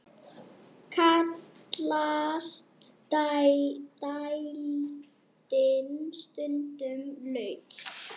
Kallast dældin stundum laut.